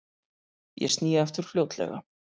Ég sný aftur fljótlega.